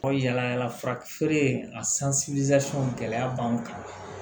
Yala yala fura feere in a gɛlɛya b'an kan